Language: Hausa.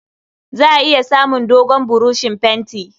Za a iya samun dogon buroshin fenti.